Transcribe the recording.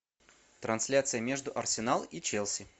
трансляция между арсенал и челси